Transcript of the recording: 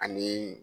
Ani